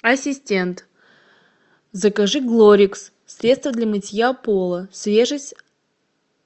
ассистент закажи глорикс средство для мытья пола свежесть